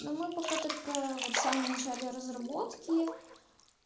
ну мы пока только вот в самом начале разработки